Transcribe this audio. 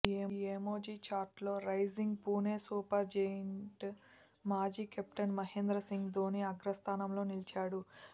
ఈ ఎమోజీ ఛార్ట్లో rising Pune super giant మాజీ కెప్టెన్ మహేంద్ర సింగ్ ధోని అగ్రస్ధానంలో నిలిచాడు